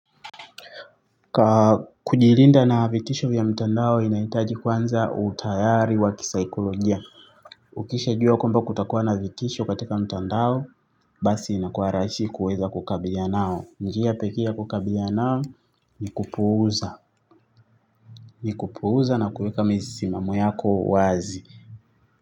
Kujilinda na vitisho vya mtandao inahitaji kwanza utayari wa kisaikolojia. Ukishajua kwamba kutakuwa na vitisho katika mtandao basi inakua rahisi kuweza kukabiliana nao. Njia pekee ya kukabiliana nao ni kupuuza. Ni kupuuza na kuweka misimamo yako wazi.